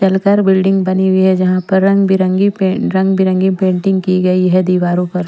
चलकर बिल्डिंग बनी हुई है जहाँ पर रंग-बिरंगी पे रंग-बिरंगी पेंटिंग की गई है दीवारों पर।